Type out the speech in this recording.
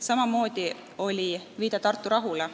Samamoodi oli viide Tartu rahule.